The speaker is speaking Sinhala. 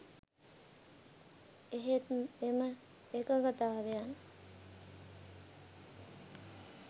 එහෙත් එම එකඟතාවයන්